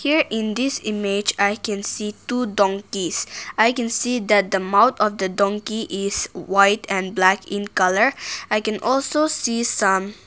Here in this image i can see two donkeys i can see that the mouth of the donkey is white and black in colour i can also see some.